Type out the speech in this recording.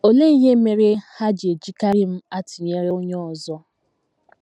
Olee ihe mere ha ji ejikarị m atụnyere onye ọzọ? ”